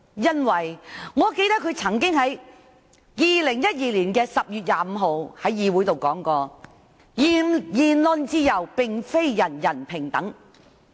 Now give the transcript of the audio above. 因為，我記得她在2012年10月25日，曾經在議會上說"言論自由並非人人平等"。